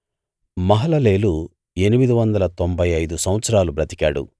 మహలలేలు ఎనిమిదివందల తొంభై ఐదు సంవత్సరాలు బ్రతికాడు